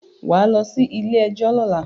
Wà á lọ sí ilé-ẹjọ́ lọ́la.